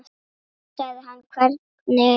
Þá sagði hann hvernig þá.